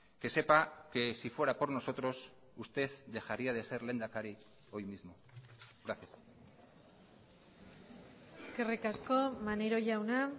que sepa que sí fuera por nosotros usted dejaría de ser lehendakari hoy mismo gracias eskerrik asko maneiro jauna